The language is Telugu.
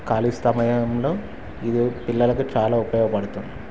కాళి స్తమయంలో ఇది పిల్లలకు చాలా ఉపయోగ పడుతుం--